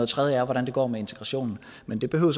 tredje er hvordan det går med integrationen men det behøver